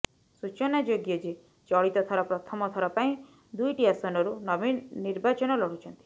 ସୂଚନାଯୋଗ୍ୟ ଯେ ଚଳିତ ଥର ପ୍ରଥମ ଥର ପାଇଁ ଦୁଇଟି ଆସନରୁ ନବୀନ ନିର୍ବାଚନ ଲଢୁଛନ୍ତି